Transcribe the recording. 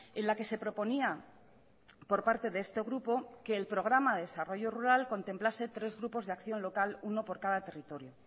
en la que se proponía por parte de este grupo que el programa desarrollo rural contemplase tres grupos de acción local uno por cada territorio